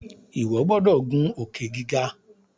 iwọ gbódò ngun Òkè-gíga!